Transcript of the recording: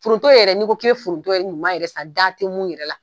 Foronto yɛrɛ ni ko i bɛ foronto ɲuman yɛrɛ san da tɛ mu yɛrɛ la.